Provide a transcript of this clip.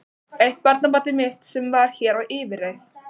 Eitt barnabarnið mitt sem var hér á yfirreið.